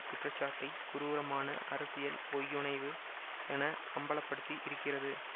குற்றச்சாட்டை குரூரமான அரசியல் பொய்யுனைவு என அம்பல படுத்தி இருக்கிறது